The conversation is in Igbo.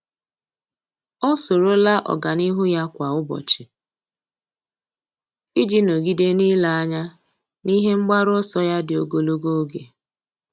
Ọ́ soro la ọ́gànihu ya kwa ụ́bọ̀chị̀ iji nọ́gídé n’ílé anya n’ihe mgbaru ọsọ ya dị ogologo oge.